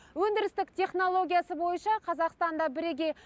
өндірістік технологиясы бойынша қазақстанда бірегей